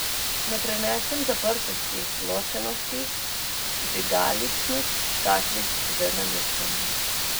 Ne prenesem zaprtosti, ločenosti, vžigaličnih škatlic z nalepkami.